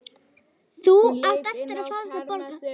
Þú átt eftir að fá þetta borgað!